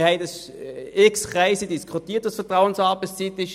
Wir haben in unzähligen Kreisen darüber diskutiert.